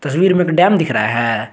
तस्वीर में एक डैम दिख रहा है।